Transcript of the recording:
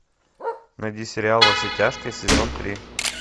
найди сериал во все тяжкие сезон три